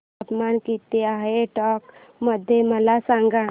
तापमान किती आहे टोंक मध्ये मला सांगा